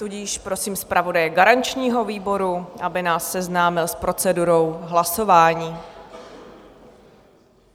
Tudíž prosím zpravodaje garančního výboru, aby nás seznámil s procedurou hlasování.